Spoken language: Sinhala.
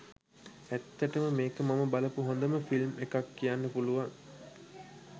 ඇත්තටම මේක මම බලපු හොඳම ෆිල්ම් එකක් කියන්න පුලුවන්.